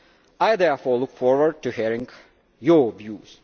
I therefore look forward to hearing your views.